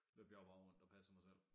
Løb jeg jo bare rundt og passede mig selv